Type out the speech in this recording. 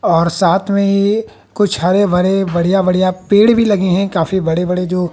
और साथ में ही कुछ हरे भरे बढ़िया बढ़िया पेड़ भी लगे हैं काफी बड़े बड़े जो--